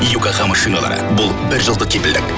йокохама шиналары бұл бір жылдық кепілдік